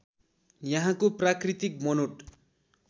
यहाँको प्राकृतिक बनोट